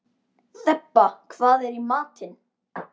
Þeba, hvað er í matinn?